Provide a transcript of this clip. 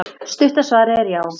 Stutta svarið er já.